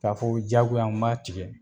K'a fɔ diyagoya, n b'a tigɛ